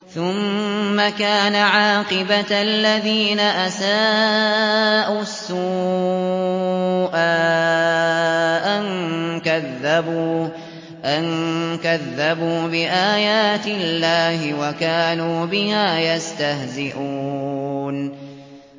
ثُمَّ كَانَ عَاقِبَةَ الَّذِينَ أَسَاءُوا السُّوأَىٰ أَن كَذَّبُوا بِآيَاتِ اللَّهِ وَكَانُوا بِهَا يَسْتَهْزِئُونَ